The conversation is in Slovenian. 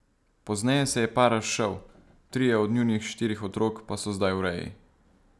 Pozneje se je par razšel, trije od njunih štirih otrok pa so zdaj v reji.